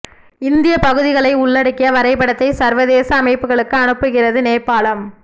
இந்திய பகுதிகளை உள்ளடக்கிய வரைபடத்தை சர்வதேச அமைப்புகளுக்கு அனுப்புகிறது நேபாளம்